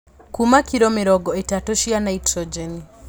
Kuma kilo mĩrongo ĩtatũ cia naitrogeni